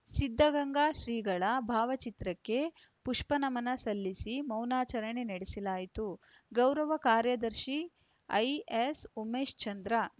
ಸಿದ್ಧಗಂಗಾ ಶ್ರೀಗಳ ಭಾವಚಿತ್ರಕ್ಕೆ ಪುಷ್ಪನಮನ ಸಲ್ಲಿಸಿ ಮೌನಾಚರಣೆ ನಡೆಸಲಾಯಿತು ಗೌರವ ಕಾರ್ಯದರ್ಶಿ ಐಎಸ್‌ ಉಮೇಶ್‌ಚಂದ್ರ